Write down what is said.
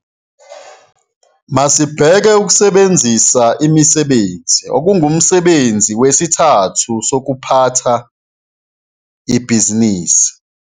Masibheke ukusebenzisa imisebenzi, okungumsebenzi wesithathu sokuphatha ibhizinisi.